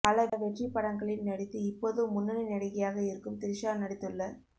பல வெற்றிப்படங்களில் நடித்து இப்போதும் முன்னணி நடிகையாக இருக்கும் திரிஷா நடித்துள்ள